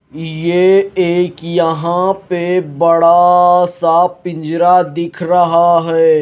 यह एक यहां पे बड़ा सा पिंजरा दिख रहा है।